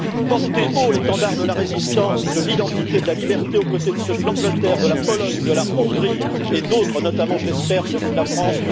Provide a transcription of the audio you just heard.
porter haut l'étendard de la résistance, de l'identité, de la liberté aux côtés de ceux du Royaume Uni, de la Pologne, de la Hongrie et d'autres, notamment je l'espère celui de la France.